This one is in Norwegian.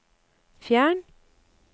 fjern